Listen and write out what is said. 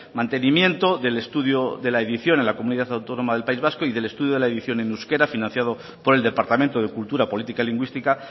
mantenimiento del estudio de la edición en la comunidad autónoma del país vasco y del estudio de la edición en euskera financiado por el departamento de cultura política lingüística